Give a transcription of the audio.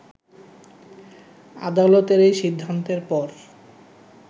আদালতের এই সিদ্ধান্তের পর